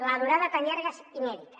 la durada tan llarga és inèdita